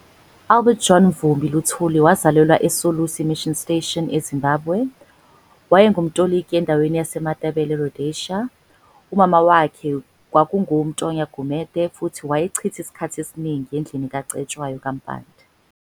Albert John Mvumbi Luthuli wazalelwa e Solusi mission station e Zimbabwe. Wayengumtoliki endaweni yase Matabele eRhosedia. umama wakhe kwaku ngu-Mtonya Gumede futhi wayechitha isikhathi esiningi endlini kaCetshwayo ka Mpande.